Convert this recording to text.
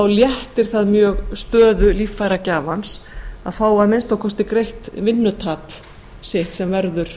léttir það mjög stöðu líffæragjafans að fá að minnsta kosti greitt vinnutap sitt sem verður